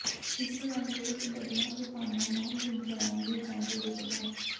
ਇਸੇ ਅੰਕ ਵਿੱਚ ਬੱਦਲਾਂ ਤੂਫ਼ਾਨਾਂ ਨਾਲ ਵਿਗਿਆਨ ਦੀ ਜੰਗ ਵਿੱਚ ਡਾ